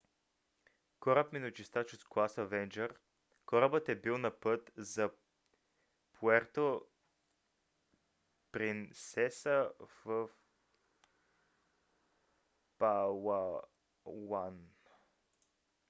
кораб миночистач от клас avenger корабът е бил на път за пуерто принсеса в палауан